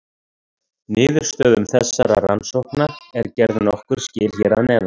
Niðurstöðum þessara rannsókna er gerð nokkur skil hér að neðan.